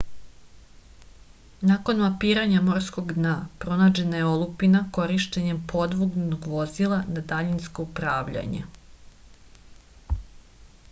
nakon mapiranja morskog dna pronađena je olupina korišćenjem podvodnog vozila na daljinsko upravljanje